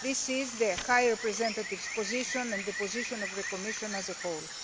That is the High Representative's position and the position of the Commission as a whole.